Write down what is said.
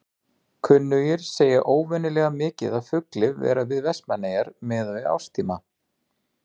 Kunnugir segja óvenjulega mikið af fugli vera við Vestmannaeyjar miðað við árstíma.